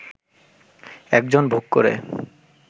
একজন ভোগ করে